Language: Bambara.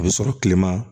A bɛ sɔrɔ kilema